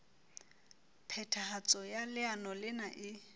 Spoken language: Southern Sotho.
phethahatso ya leano lena e